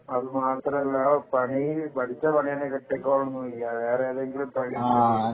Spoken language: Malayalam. അത് മാത്രമല്ല പഠിച്ച പണി തന്നെ കിട്ടിക്കോളണം എന്നില്ല വേറെ എന്തെങ്കിലും പണി എടുക്കേണ്ടി വരും